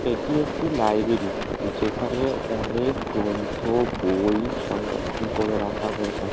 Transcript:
এটি একটি লাইব্রেরী । যেখানে অনেক গ্রন্থ বই সংরক্ষণ করে রাখা হয়ে থাক --